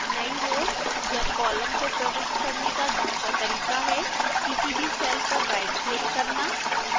नई row या column को प्रविष्ट करने का दूसरा तरीका है किसी भी cell पर rightquick करना